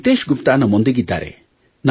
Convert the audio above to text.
ನಿತೇಶ್ ಗುಪ್ತಾ ನಮ್ಮೊಂದಿಗಿದ್ದಾರೆ